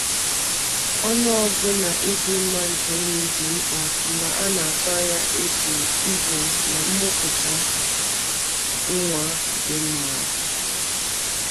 Ọnụọgụ na ịdị mma nke nri dị mkpa mgbe a na-atụ anya ebum ibu na mmụputa nwa dị mma